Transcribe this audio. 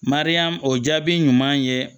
Mariyamu o jaabi ɲuman ye